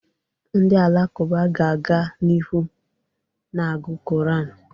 Ndị alakụba ga-aga n'ihu na-agụ Koran.